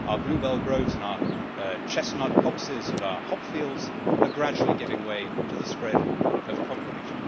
Our bluebell groves and our chestnut copses and our hop fields are gradually giving way to the spread of concrete.